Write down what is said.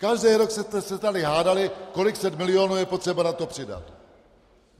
Každý rok jste se tady hádali, kolik set milionů je potřeba na to přidat.